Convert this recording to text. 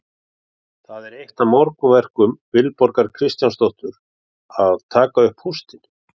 Það er eitt af morgunverkum Vilborgar Kristjánsdóttur að taka upp póstinn.